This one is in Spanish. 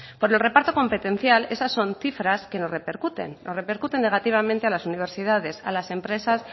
por el reparto competencial esas son cifras que nos repercuten nos repercuten negativamente a las universidades a las empresas